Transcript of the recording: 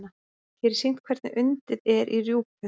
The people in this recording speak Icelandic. Hér er sýnt hvernig undið er í rjúpu.